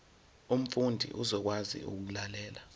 umfundi uzokwazi ukulalela